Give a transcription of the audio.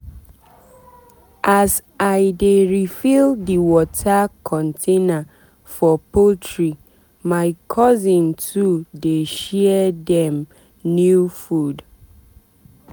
as i dey refill the water container for poultrymy cousin too dey share dem new food.